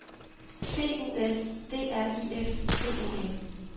B U S D R I F T E N